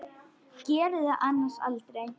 Gerði það annars aldrei.